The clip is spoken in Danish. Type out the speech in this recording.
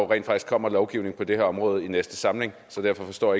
rent faktisk kommer lovgivning på det her område i den næste samling derfor forstår